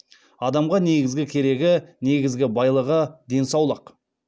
адамға негізгі керегі негізгі байлығы денсаулық